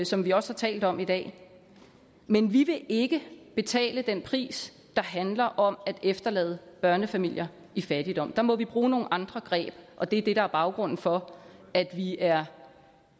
som vi også har talt om i dag men vi vil ikke betale den pris der handler om at efterlade børnefamilier i fattigdom der må vi bruge nogle andre greb og det er det der er baggrunden for at vi er